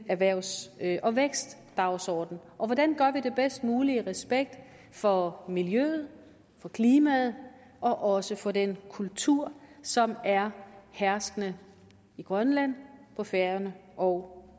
erhvervs og vækstdagsordenen hvordan gør vi det bedst muligt i respekt for miljøet for klimaet og også for den kultur som er herskende i grønland på færøerne og